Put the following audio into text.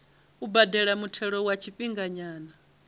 u badela muthelo wa tshifhinganyana